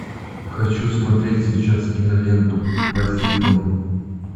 хочу смотреть сейчас киноленту посейдон